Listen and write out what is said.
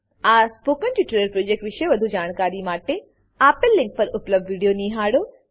આ spoken tutorial project વિશે વધુ જાણકારી માટે આપેલ લીંક પર ઉપલબ્ધ વિડીયો નિહાળો